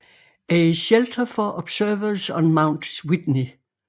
A Shelter for Observers on Mount Whitney